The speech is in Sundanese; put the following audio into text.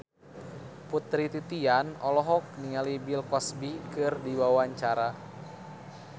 Putri Titian olohok ningali Bill Cosby keur diwawancara